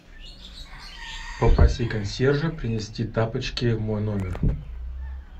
попроси консьержа принести тапочки в мой номер